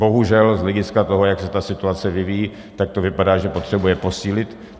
Bohužel z hlediska toho, jak se ta situace vyvíjí, tak to vypadá, že potřebuje posílit.